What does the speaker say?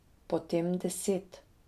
Potem deset.